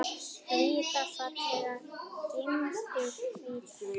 Hvíta fallega gimbur, hvíta.